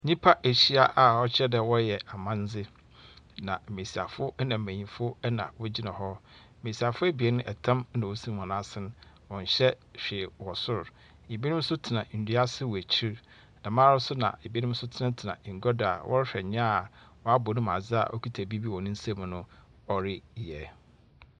Nyimpa ahyia a ɔkyerɛ dɛ wɔreyɛ amandze, na mbasiafo na mbanyin na wogyina hɔ, mbasiafo ebien tam na osi hɔn asen na wɔnhyɛ hwee wɔ sor, binom so tsena ndua ase wɔ ekyir. Dɛmara so na binom so tsenatsena engua do a wɔrohwɛ nyia a ɔabɔ no mu adze a okitsa biribi wɔ ne nsamu no ɔreyɛ.